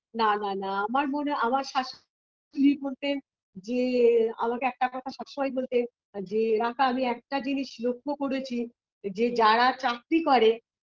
না না না আমার মনে আমার শাশুড়ি বলতেন যে আমাকে একটা কথা সবসময় বলতেন যে রাকা আমি একটা জিনিস লক্ষ্য করেছি যে যারা চাকরি করে